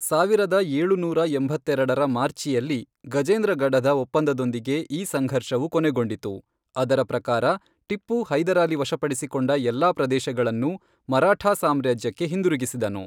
ಸಾವಿರದ ಏಳುನೂರ ಎಂಬತ್ತೆರೆಡರ ಮಾರ್ಚಿಯಲ್ಲಿ ಗಜೇಂದ್ರಗಢದ ಒಪ್ಪಂದದೊಂದಿಗೆ ಈ ಸಂಘರ್ಷವು ಕೊನೆಗೊಂಡಿತು, ಅದರ ಪ್ರಕಾರ ಟಿಪ್ಪು ಹೈದರಾಲಿ ವಶಪಡಿಸಿಕೊಂಡ ಎಲ್ಲಾ ಪ್ರದೇಶಗಳನ್ನು ಮರಾಠಾ ಸಾಮ್ರಾಜ್ಯಕ್ಕೆ ಹಿಂದಿರುಗಿಸಿದನು.